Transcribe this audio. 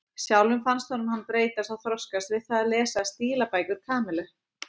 Sjálfum fannst honum hann hafa breyst og þroskast við það að lesa stílabækur Kamillu.